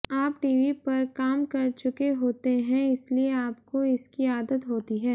आप टीवी पर काम कर चुके होते हैं इसलिए आपको इसकी आदत होती है